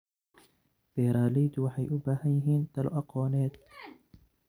Beeraleydu waxay u baahan yihiin talo aqooneed.